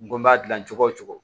N ko n b'a dilan cogo wo cogo